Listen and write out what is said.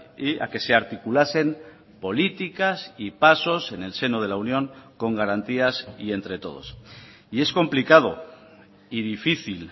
y a que se articulasen políticas y pasos en el seno de la unión con garantías y entre todos y es complicado y difícil